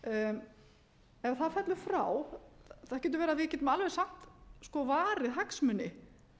fellur frá það getur verið að við getum alveg eins haft varið hagsmuni